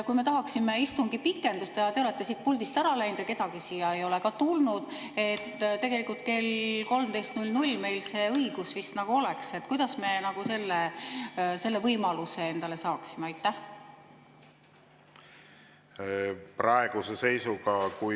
Kui me tahaksime istungi pikendust ja te olete siit puldist ära läinud ja kedagi siia ei ole tulnud – tegelikult kell 13.00 meil vist see õigus oleks –, kuidas me selle võimaluse endale saaksime?